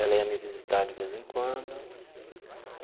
Ela ia me visitar de vez em quando.